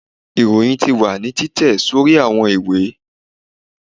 iroyín tí wa ni titẹ sorí awọn ìwé